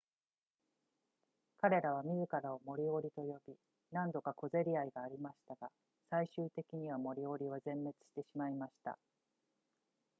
彼らは自らをモリオリと呼び何度か小競り合いがありましたが最終的にはモリオリは全滅してしまいました